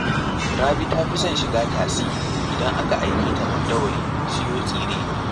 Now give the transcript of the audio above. Rabi ta fi son shiga tasi idan aka aike ta Mandawari siyo tsire